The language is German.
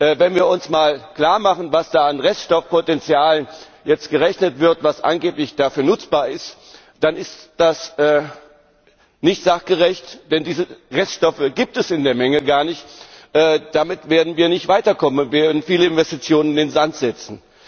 Denn wenn wir uns einmal klarmachen, was da jetzt an Reststoffpotenzial errechnet wird was angeblich dafür nutzbar ist dann ist das nicht sachgerecht, denn diese Reststoffe gibt es in der Menge gar nicht. Damit werden wir nicht weiterkommen, und wir werden viele Investitionen in den Sand setzen.